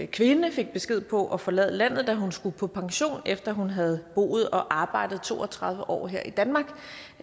kvinde fik besked på at forlade landet da hun skulle på pension efter at hun havde boet og arbejdet to og tredive år her i danmark